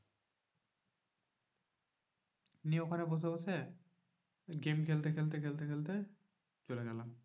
নিয়ে ওখানে বসে বসে game খেলতে খেলতে খেলতে খেলতে চলে গেলাম।